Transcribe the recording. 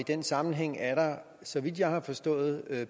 den sammenhæng er der så vidt jeg har forstået